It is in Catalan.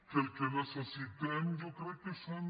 que el que necessitem jo crec que són